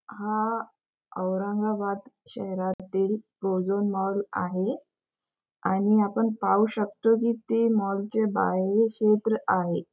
हा औरंगाबाद शहरातील Prozone mall आहे आणि आपण पाहू शकतो की ते मॉलचे बाहेरील क्षेत्र आहे.